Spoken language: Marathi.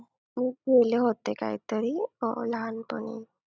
बोलले होते कायतरी अं लहानपणी.